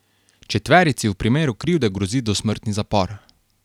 Četverici v primeru krivde grozi dosmrtni zapor.